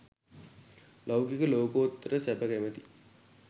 ලෞකික ලෝකෝත්තර සැප කැමති